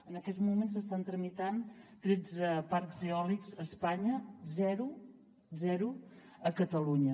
en aquests moments s’estan tramitant tretze parcs eòlics a espanya zero zero a catalunya